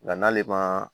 Nka n'ale ma